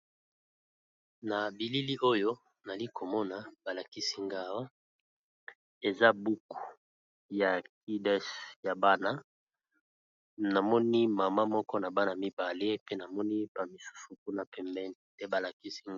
Na bilili oyo nali ko mona ba lakisi nga awa eza buku ya kudes ya bana, na moni mama moko na bana mibale pe na moni ba misusu kuna pembeni te ba lakisi nga .